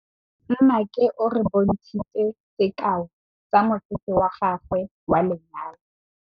Nnake o re bontshitse sekaô sa mosese wa gagwe wa lenyalo.